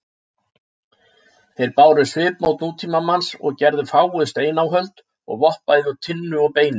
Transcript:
Þeir báru svipmót nútímamanns og gerðu fáguð steináhöld og vopn bæði úr tinnu og beini.